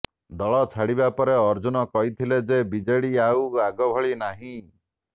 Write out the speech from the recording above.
ଦଳ ଛାଡିବା ପରେ ଅଜୁର୍ନ କହିଥିଲେ ଯେ ବିଜେଡି ଆଉ ଆଗଭଳି ନାହିଁ